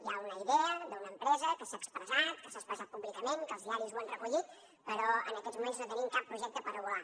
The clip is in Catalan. hi ha una idea d’una empresa que s’ha expressat que s’ha expressat públicament que els diaris ho han recollit però en aquests moments no tenim cap projecte per avaluar